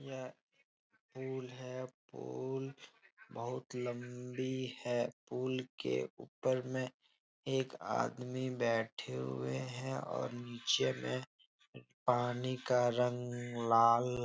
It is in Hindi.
यह पुल है । पुल बहोत लम्बी है । पुल के उपर में एक आदमी बेठे हुए हैं और नीचे में पानी का रंग लाल --